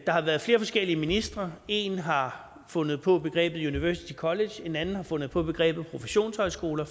har været flere forskellige ministre en har fundet på begrebet university college en anden har fundet på begrebet professionshøjskoler